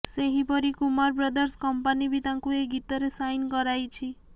ସେହିପରି Kumar brothers company ବି ତାଙ୍କୁ ଏକ ଗୀତରେ ସାଇନ କରାଇଛି